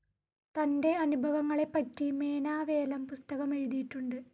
തൻ്റെ അനുഭവങ്ങളെപ്പറ്റി മേനാവേലം പുസ്തകമെഴുതിയിട്ടുണ്ട്.